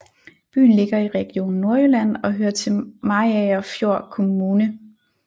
Byen ligger i Region Nordjylland og hører til Mariagerfjord Kommune